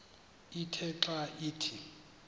ithe xa ithi